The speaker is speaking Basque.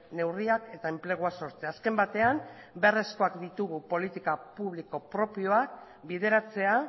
neurriak eta enplegua sortzea azken batean beharrezkoak ditugu politika publiko propioak bideratzea